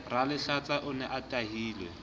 ralehlatsa o ne a tahilwe